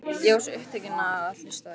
Ég var svo upptekinn af að hlusta á þig.